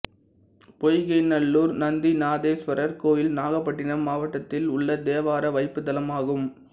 பொய்கைநல்லூர் நந்திநாதேசுவரர் கோயில் நாகப்பட்டினம் மாவட்டத்தில் உள்ள தேவார வைப்புத்தலமாகும்